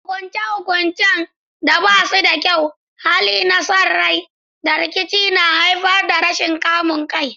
Hukunce-hukuncen da ba su da kyau, hali na son rai, da rikici na iya haifar da rashin kamun kai.